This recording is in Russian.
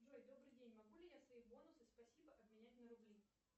джой добрый день могу ли я свои бонусы спасибо обменять на рубли